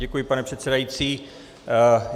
Děkuji, pane předsedající.